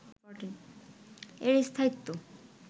এর স্থায়িত্ব